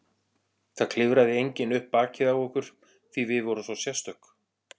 Það klifraði enginn upp bakið á okkur því við vorum svo sérstök.